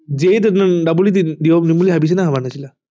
JEE দিবলৈ পাম বুলি ভাবিছিলা নে ভাবা নাছিলা